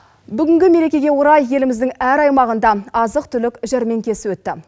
бүгінгі мерекеге орай еліміздің әр аймағында азық түлік жәрмеңкесі өтті